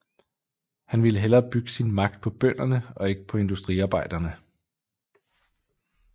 Han ville hellere bygge sin magt på bønderne og ikke på industriarbejderne